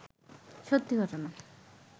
সত্যি ঘটনা